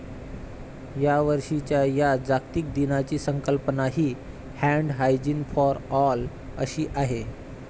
यावर्षीच्या या जागतिक दिनाची संकल्पना ही 'हॅण्ड हायजीन फॉर ऑल' अशी आहे.